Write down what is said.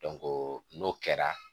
n'o kɛra